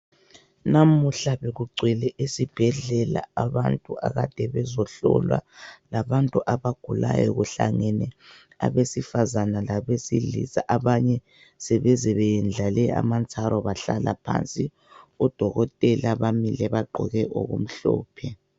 Namuhla bekugcwele esibhedlela abantu akade bezohlolwa labantu abagulayo kuhlangene abesifazane labesilisa abanye sebeze beyandlale amantsaro bahlala phansi odokotela bamile bagqoke okumhlophe .